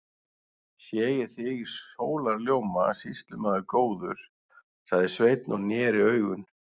Sé ég þig í sólarljóma, sýslumaður góður, sagði Sveinn og neri augun.